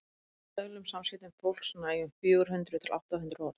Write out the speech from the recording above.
í daglegum samskiptum fólks nægja um fjögur hundruð til átta hundruð orð